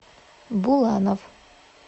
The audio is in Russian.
буланов